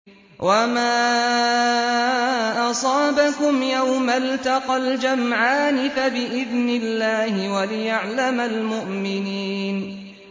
وَمَا أَصَابَكُمْ يَوْمَ الْتَقَى الْجَمْعَانِ فَبِإِذْنِ اللَّهِ وَلِيَعْلَمَ الْمُؤْمِنِينَ